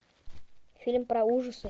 фильм про ужасы